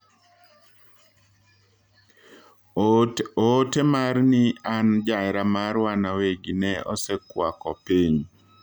Oote mar ni an jahera mar wan wawegi ne osekwako piny."